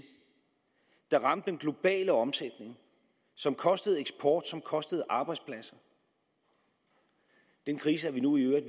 der ramte den globale omsætning som kostede eksport og som kostede arbejdspladser den krise er vi nu i øvrigt